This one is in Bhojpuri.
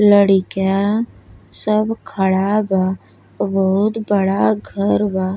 लड़का सब खड़ा बा और बहुत बड़ा घर बा।